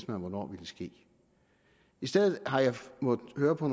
man hvornår ville ske i stedet har jeg måttet høre på